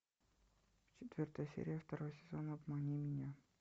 четвертая серия второй сезон обмани меня